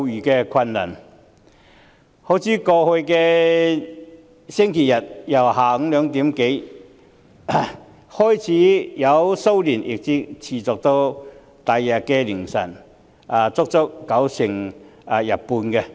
好像在剛過去的星期日，騷亂由下午2時多開始，一直持續到翌日凌晨，足足維持了半天。